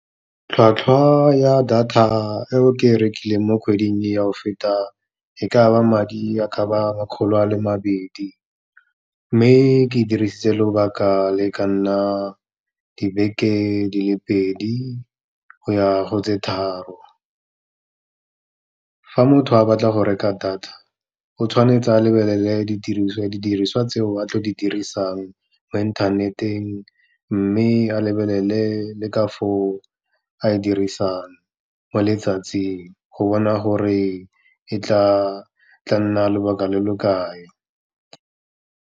Tlhwatlhwa ya data eo ke e rekileng mo kgweding ya go feta e kaba madi a kaba makgolo a le mabedi, mme ke e dirisitse lobaka le ka nna dibeke di le pedi, go ya go tse tharo. Fa motho a batla go reka data, o tshwanetse o lebelele didiriswa, didiriswa tseo a tlo di dirisang mo inthaneteng, mme a lebelele le ka foo a dirisang mo letsatsing, go bona gore e tla nna lobaka lo lo kae.